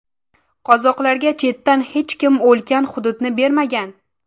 Qozoqlarga chetdan hech kim ulkan hududni bermagan.